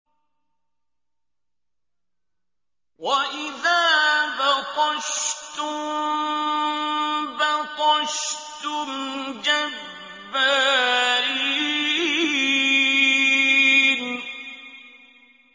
وَإِذَا بَطَشْتُم بَطَشْتُمْ جَبَّارِينَ